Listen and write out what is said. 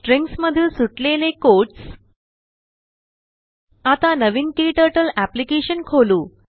stringsमधील सुटलेलेquotes आता नवीनKturtle अप्लिकेशन खोलू